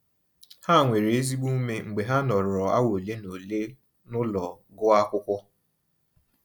Ha nwere ezigbo ume mgbe ha nọrọ awa ole na ole n'ụlọ gụọ akwụkwọ.